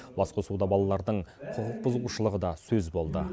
басқосуда балалардың құқықбұзушылығы да сөз болды